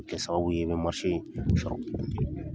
O bɛ kɛ sababu ye i bɛ in sɔrɔ.